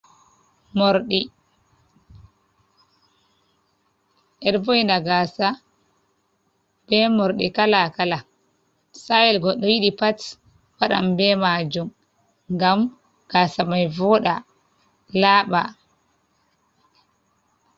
Morɗi beɗo vo'ina gasa be morɗi kalakala. satayel goɗɗo yiɗi pat waɗan be majum. Ngam gasa mai voɗa laba.